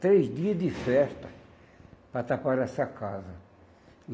Três dias de festa para taparem essa casa.